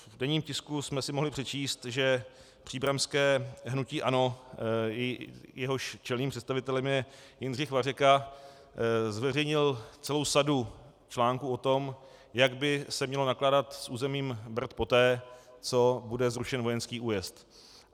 V denním tisku jsme si mohli přečíst, že příbramské hnutí ANO, jehož čelným představitelem je Jindřich Vařeka, zveřejnil celou sadu článků o tom, jak by se mělo nakládat s územím Brd poté, co bude zrušen vojenský újezd.